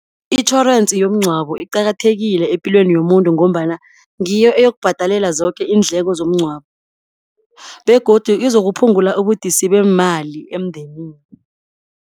Itjhorensi yomngcwabo iqakathekile epilweni yomuntu, ngombana ngiyo eyokubhadalela zoke iindleko zomngcwabo, begodu izokuphungula ubudisi beemali emndenini.